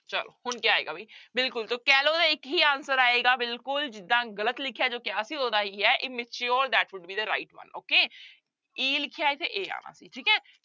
ਚਲੋ ਹੁਣ ਕਿਆ ਆਏਗਾ ਵੀ ਬਿਲਕੁਲ ਤਾਂ callow ਦਾ ਇੱਕ ਹੀ answer ਆਏਗਾ ਬਿਲਕੁਲ ਜਿੱਦਾਂ ਗ਼ਲਤ ਲਿਖਿਆ ਜੋ ਕਿਹਾ ਸੀ ਉਹਦਾ ਇਹੀ ਹੈ immature that would be the right one okay e ਲਿਖਿਆ ਇੱਥੇ a ਆਉਣਾ ਸੀ ਠੀਕ ਹੈ।